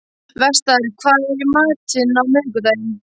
Vestar, hvað er í matinn á miðvikudaginn?